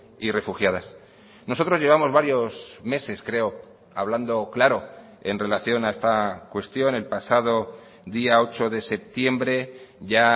y refugiadas nosotros llevamos varios meses creo hablando claro en relación a esta cuestión el pasado día ocho de septiembre ya